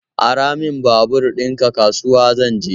Ara min babur ɗinka, kasuwa zan je